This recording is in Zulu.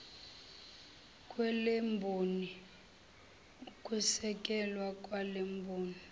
kwalemboni ukwesekelwa kwalemboni